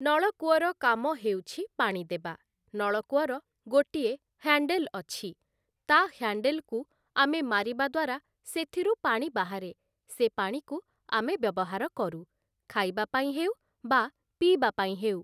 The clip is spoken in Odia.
ନଳକୂଅର କାମ ହେଉଛି ପାଣି ଦେବା । ନଳକୂଅର ଗୋଟିଏ ହ୍ୟାଣ୍ଡେଲ୍ ଅଛି, ତା' ହ୍ୟାଣ୍ଡେଲ୍‌କୁ ଆମେ ମାରିବା ଦ୍ଵାରା ସେଥିରୁ ପାଣି ବାହାରେ, ସେ ପାଣିକୁ ଆମେ ବ୍ୟବହାର କରୁ ଖାଇବା ପାଇଁ ହେଉ ବା ପିଇବା ପାଇଁ ହେଉ ।